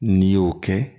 N'i y'o kɛ